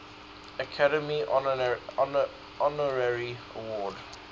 academy honorary award